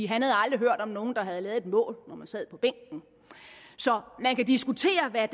han havde aldrig hørt om nogen der havde lavet et mål når man sad på bænken så man kan diskutere hvad